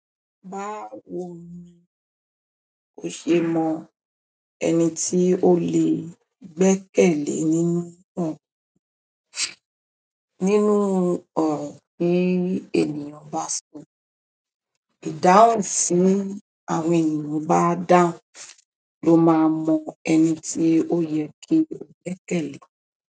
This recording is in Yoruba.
Báwo ni ò ṣe mọ ẹni tí o lè gbẹ́kẹ̀lé nínú wòn? Nínú ọ̀rọ̀ tí ènìyàn bá sọ ìdáhùn tí àwọn ènìyàn bá dáhùn lo ma mo ẹni tí òye kí o gbẹ́kẹ̀lé.